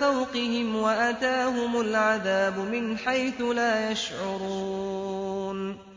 فَوْقِهِمْ وَأَتَاهُمُ الْعَذَابُ مِنْ حَيْثُ لَا يَشْعُرُونَ